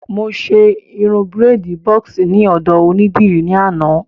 Mo ṣe irun bírèèdì bọ́ọ̀sì ní ọ̀dọ̀ onídìrí ní àná